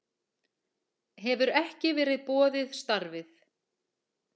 Hefur ekki verið boðið starfið